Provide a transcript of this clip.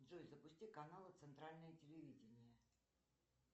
джой запусти каналы центральное телевидение